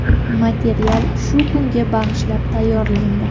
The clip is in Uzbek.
Material shu kunga bag‘ishlab tayyorlandi.